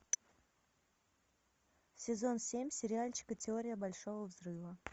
сезон семь сериальчика теория большого взрыва